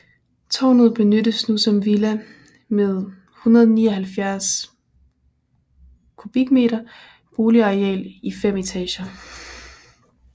Tårnet benyttes nu som villa med 179 m² boligareal i fem etager